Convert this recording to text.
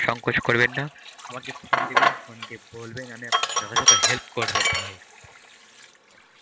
সংকোচ করবেন না আমাকে phone দিবেন phone দিয়ে বলবেন আমি আপনাকে যথাযথ help করব ভাই.